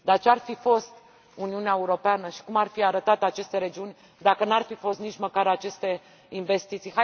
Dar ce ar fi fost Uniunea Europeană și cum ar fi arătat aceste regiuni dacă nu ar fi fost nici măcar aceste investiții?